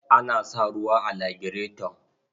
An sa ruwa a lagireton.